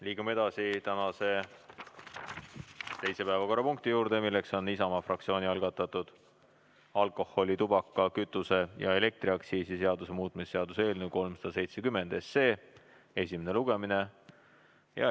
Liigume edasi tänase teise päevakorrapunkti juurde, milleks on Isamaa fraktsiooni algatatud alkoholi-, tubaka-, kütuse- ja elektriaktsiisi seaduse muutmise seaduse eelnõu 370 esimene lugemine.